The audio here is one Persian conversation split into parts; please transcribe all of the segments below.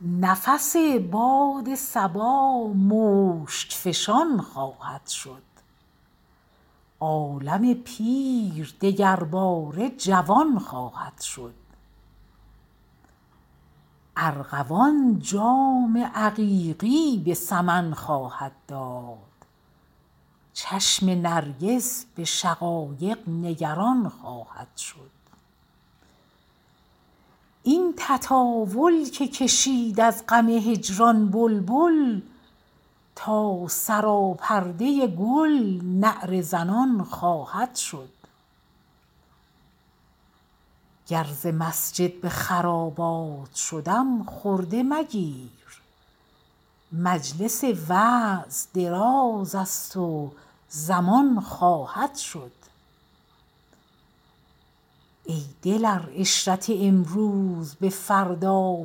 نفس باد صبا مشک فشان خواهد شد عالم پیر دگرباره جوان خواهد شد ارغوان جام عقیقی به سمن خواهد داد چشم نرگس به شقایق نگران خواهد شد این تطاول که کشید از غم هجران بلبل تا سراپرده گل نعره زنان خواهد شد گر ز مسجد به خرابات شدم خرده مگیر مجلس وعظ دراز است و زمان خواهد شد ای دل ار عشرت امروز به فردا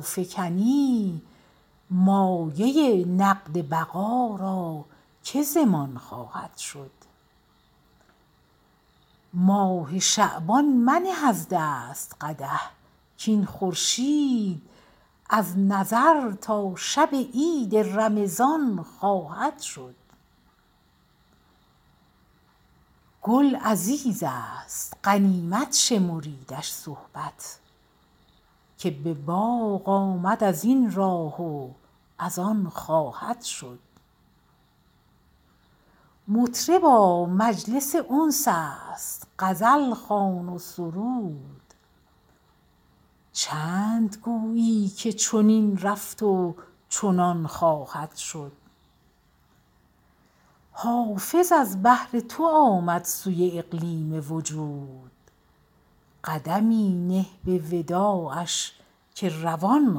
فکنی مایه نقد بقا را که ضمان خواهد شد ماه شعبان منه از دست قدح کاین خورشید از نظر تا شب عید رمضان خواهد شد گل عزیز است غنیمت شمریدش صحبت که به باغ آمد از این راه و از آن خواهد شد مطربا مجلس انس است غزل خوان و سرود چند گویی که چنین رفت و چنان خواهد شد حافظ از بهر تو آمد سوی اقلیم وجود قدمی نه به وداعش که روان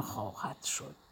خواهد شد